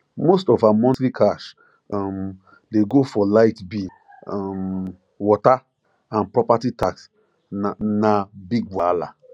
most of her monthly cash um dey go for light bill um water and property tax na na big wahala